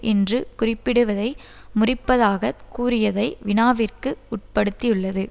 என்று குறிப்பிடுவதை முறிப்பதாக கூறியதை வினாவிற்கு உட்படுத்தியுள்ளது